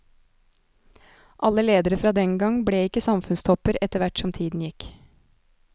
Alle ledere fra den gang ble ikke samfunnstopper etterhvert som tiden gikk.